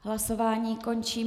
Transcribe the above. Hlasování končím.